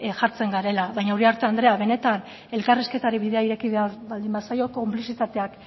jartzen garela baina uriarte andrea benetan elkarrizketari bidea ireki behar baldin bazaio konplizitateak